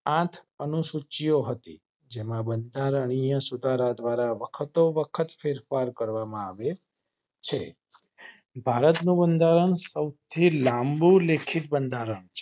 આઠ અનુસૂચિઓ હતી જેમાં બંધારણીય સુધારા વખત સુધારો ફેરફાર કરવામાં આવે છે. ભારત નું બંધારણ સૌથી લાંબુ લેખિત બંધારણ છે.